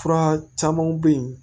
Fura camanw bɛ yen